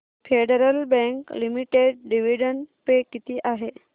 federal Bank Limited dividend pay किती आहे